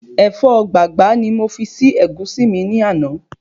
Ẹ̀fọ́ gbàgbá ni mo fi si Ẹ̀gúsí mi ní àná